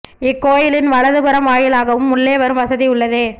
இக்கோயிலின் வலது புறம் வாயிலாகவும் உள்ளே வரும் வசதி உள்ளது